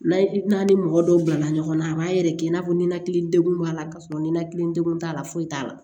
N'a ye n'a ni mɔgɔ dɔw bilala ɲɔgɔn na a b'a yɛrɛkɛ i n'a fɔ ninakili degun b'a la k'a sɔrɔ ninakili degun t'a la foyi t'a la